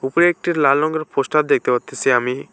ওপর একটি লাল রঙের পোস্টার দেখতে পারতাছি আমি।